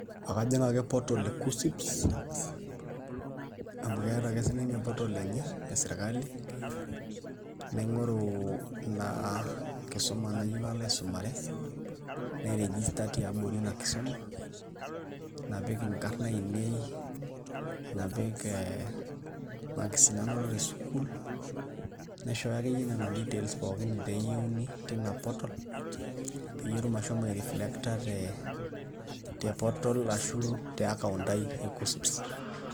Akajing' ake portal e KUCCP amu keeta ake ninye portal enye e sirkali naing'uro ina kisuma nayieu nalo aisumare nairegista tiabori ina kisuma, napik inkarn ainei napik ee marks nanoto tesukuul naishooyo akeyie nena details pookin naayieuni tina portal peyie etumoki ashomo aireflecta ashu e account ai e KUCCP.